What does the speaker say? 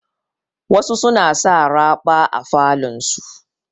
Wasu suna sa raɓa a falon su.